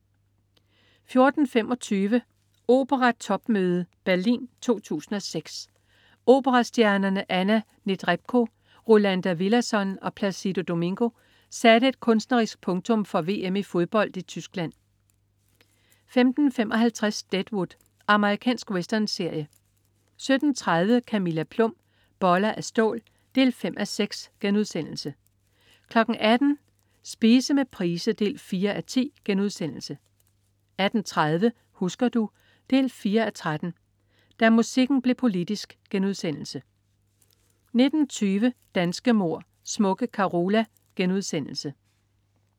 14.25 Opera topmøde. Berlin 2006. Operastjernerne Anna Netrebko, Rolando Villazon og Placido Domingo satte et kunstnerisk punktum for VM i fodbold i Tyskland 15.55 Deadwood. Amerikansk westernserie 17.30 Camilla Plum. Boller af stål 5:6* 18.00 Spise med Price 4:10* 18.30 Husker du? 4:13. Da musikken blev politisk* 19.20 Danske mord: Smukke Carola*